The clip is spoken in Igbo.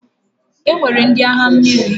E nwere ndị agha mmiri.